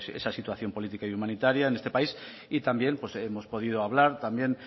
sobre esa situación política y humanitaria en este país y también hemos podido hablar